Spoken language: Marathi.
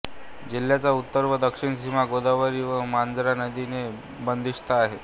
जिल्ह्याची उत्तर व दक्षिण सीमा गोदावरी व मांजरा नदी ने बंदीस्थ आहे